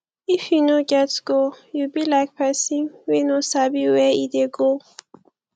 if you no get goal you be like pesin wey no sabi where e dey go